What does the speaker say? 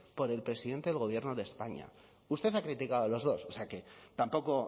por el presidente del gobierno de españa usted ha criticado los dos o sea que tampoco